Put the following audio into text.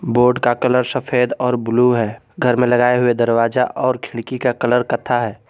Board का colour सफेद और ब्लू है घर में लगाए हुए दरवाजा और खिड़की का कलर कथा है।